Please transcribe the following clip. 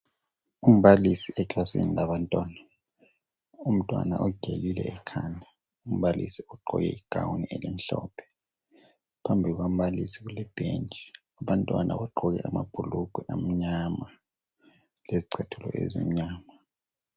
Umbalisi eklasini labantwana. Umntwana ugelile ekhanda. Umbalisi ugqoke igown elimhlophe. Phambi kukambalisi kulebhentshi. Abantwana bagqoke amabhulugwe amnyama, lezicathulo ezimnyama.